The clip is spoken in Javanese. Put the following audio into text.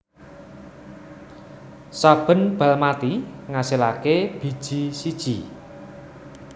Saben bal mati ngasilaké biji siji